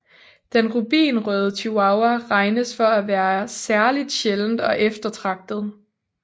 Den rubinrøde chihuahua regnes for at være særligt sjælden og eftertragtet